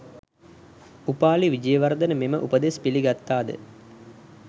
උපාලි විජේවර්ධන මෙම උපදෙස් පිළි ගත්තා ද